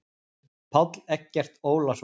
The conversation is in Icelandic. Páll Eggert Ólason.